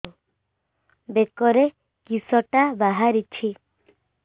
ବେକରେ କିଶଟା ବାହାରିଛି